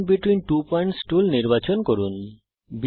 segment between two points tool নির্বাচন করুন